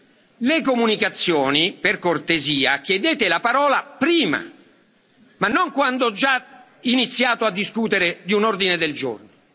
Per le comunicazioni, per cortesia, chiedete la parola prima, ma non quando ho già iniziato a discutere di un ordine del giorno.